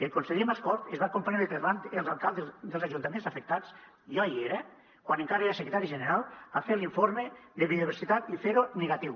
el conseller mascort es va comprometre davant els alcaldes dels ajuntaments afectats jo hi era quan encara era secretari general a fer l’informe de biodiversitat i a fer lo negatiu